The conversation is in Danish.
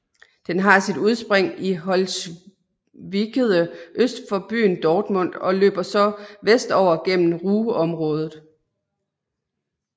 Den har sit udspring i Holzwickede øst for byen Dortmund og løber så vestover gennem Ruhrområdet